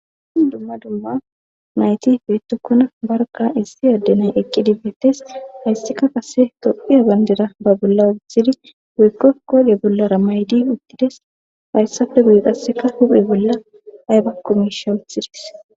Dumma dumma nayti beettokona barkka issi adde nay eqqidi bettes. Hayssika qase toqhiya banddira ba bolla wothidi woykko koode bollara maydi uttides. Hayssppe guigaseka huphe bolla aybakko miishsha wuthidis.